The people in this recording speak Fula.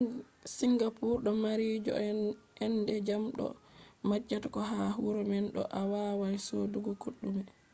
singapore do mari joo’ende jam bo a majjata ko ha huuro man bo awawai sodugo kodume